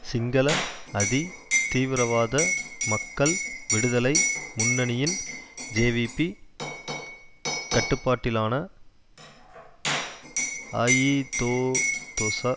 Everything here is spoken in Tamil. சிங்கள அதி தீவிரவாத மக்கள் விடுதலை முன்னணியின் ஜேவிபி கட்டுப்பாட்டிலான அஇதோதொச